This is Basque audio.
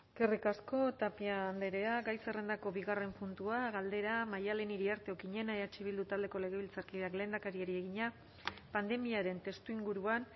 eskerrik asko tapia andrea gai zerrendako bigarren puntua galdera maddalen iriarte okiñena eh bildu taldeko legebiltzarkideak lehendakariari egina pandemiaren testuinguruan